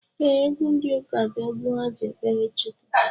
Ee, egwu ndi ụka bụ egwu ha ji ekpere Chukwu